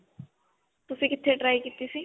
ਤੁਸੀ ਕਿੱਥੇ try ਕੀਤੀ ਸੀ?